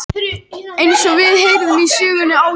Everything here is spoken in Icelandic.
Eins og við heyrðum í sögunni áðan.